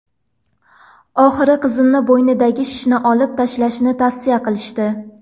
Oxiri qizimni bo‘ynidagi shishni olib tashlashni tavsiya qilishdi.